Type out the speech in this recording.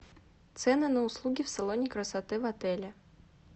цены на услуги в салоне красоты в отеле